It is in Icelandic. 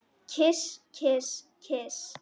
Kyss, kyss, kyss.